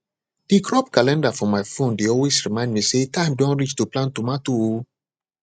the crop calendar for my phone dey always remind me say time don reach to plant tomato o